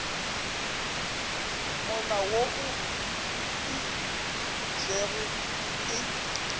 molao wo o fetišitšwego ke